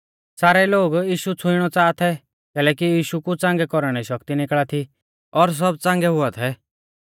सारै लोग यीशु छ़ुइणौ च़ाहा थै कैलैकि यीशु कु च़ांगै कौरणै री शक्ति निकल़ा थी और सब च़ांगै हुआ थै